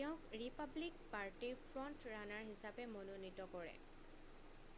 তেওঁক ৰিপাব্লিক পাৰ্টিৰ front runner হিচাপে মনোনীত কৰে